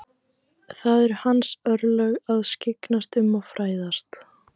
Það eru hans örlög að skyggnast um og fræðast.